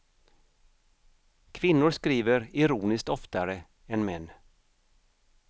Kvinnor skriver ironiskt oftare än män.